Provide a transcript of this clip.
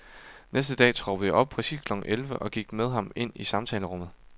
Næste dag troppede jeg op, præcis klokken elleve, og gik med ham ind i samtalerummet.